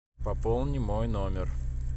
пополни мой номер